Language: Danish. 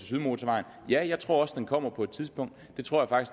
sydmotorvejen ja jeg tror også den kommer på et tidspunkt det tror jeg